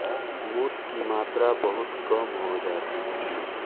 मूत की मात्रा बहुत कम हो जाती है